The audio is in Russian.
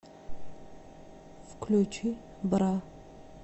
включи бра